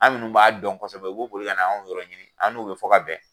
Anw minnu b'a dɔn kosɛbɛ, b'a dɔn kosɛbɛ , u bɛ boli ka na ne yɔrɔ ɲini, an n'u bɛ fɔ ka bɛn.